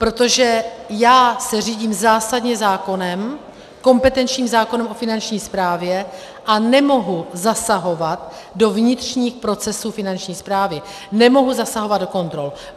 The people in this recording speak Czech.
Protože já se řídím zásadně zákonem, kompetenčním zákonem o Finanční správě, a nemohu zasahovat do vnitřních procesů Finanční správy, nemohu zasahovat do kontrol.